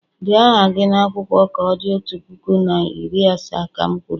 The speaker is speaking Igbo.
Dee aha gị n'akwụkwọ ka o di otu puku na iri asaa, ka m kwuru!